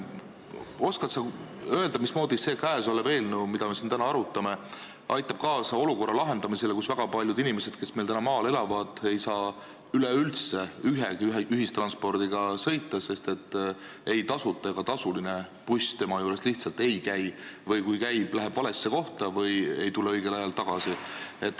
Oskad sa öelda, mismoodi aitab see eelnõu, mida me siin täna arutame, lahendada seda olukorda, et väga paljud inimesed, kes maal elavad, ei saa üleüldse ühistransporti kasutada, sest ükski tasuta ega tasuline buss tema juures lihtsalt ei käi, või kui käib, siis läheb valesse kohta või ei tule õigel ajal tagasi?